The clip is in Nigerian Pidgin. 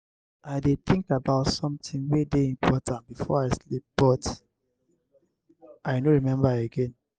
i dey think about something wey dey important before i sleep but i no remember again.